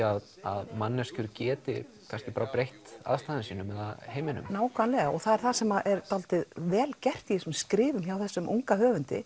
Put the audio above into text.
að manneskjur geti kannski bara breytt aðstæðum sínum eða heiminum nákvæmlega og það er það sem er dálítið vel gert í þessum skrifum hjá þessum unga höfundi